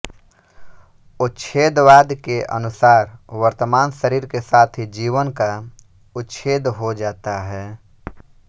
उच्छेदवाद के अनुसार वर्तमान शरीर के साथ ही जीवन का उच्छेद हो जाता है